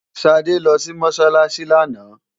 Ṣadé lọ sí Mọ́ṣáláṣí lánàá.